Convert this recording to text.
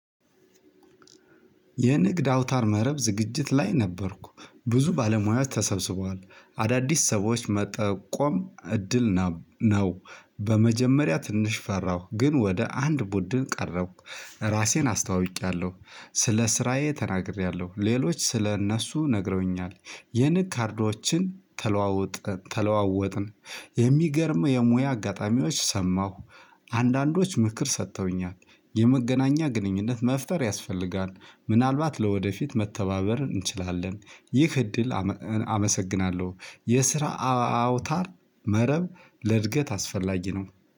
የንግድ አውታር መረብ ዝግጅት ላይ ነበርኩ ብዙ ባለሙያዎች ተሰብስቧል አዳዲስ ሰዎች መጠቆም እድል ነው በመጀመሪያ ትንሽ ፈራሁ ግን ወደ አንድ ቡድን ቀረሁ። ራሴን አስተዋውቂያለሁ ስለ ስራዬ ተናግሬያለሁ ሌሎች ስለ እነሱ ነግረውኛል የንግ ካርዶችን ተለዋወጥን የሚገርም የሙያ አጋጣሚዎች ሰማሁ። አንዳንዶች ምክር ሰጥተውኛል የመገናኛ ግንኙነት መፍጠር ያስፈልጋል። ምናልባት ለወደፊት መተባበር እንችላለን። ይህ እድል አመሰግናለሁ። የስራ አውታር መረብ ለእድገት አስፈላጊ ነው።